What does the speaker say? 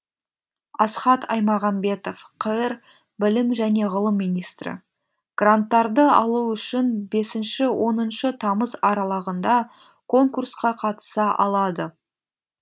асхат аймағамбетов қр білім және ғылым министрі гранттарды алу үшін бесінші оныншы тамыз аралығында конкурсқа қатыса алады